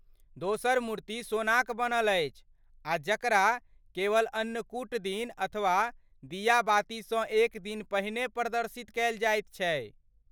दोसर मूर्ति सोनाक बनल अछि आ जकरा केवल अन्नकूट दिन अथवा दियाबातीसँ एक दिन पहिने प्रदर्शित कयल जाइ छै।